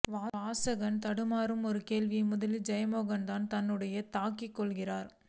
வாசகன் தடுமாறும் ஒரு கேள்வியை முதலில் ஜெயமோகன் தன்னுடையதாக்கிக் கொள்கிறார்